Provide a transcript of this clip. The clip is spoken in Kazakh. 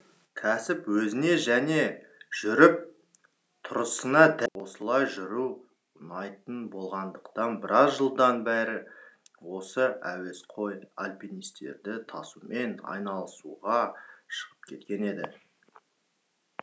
ал альпинистік кәсіп өзіне және жүріп тұрысына дәл келіп осылай жүру ұнайтын болғандықтан біраз жылдан бері осы әуесқой альпинистерді тасумен айналысуға шығып кеткен еді